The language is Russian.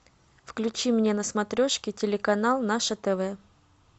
включи мне на смотрешке телеканал наше тв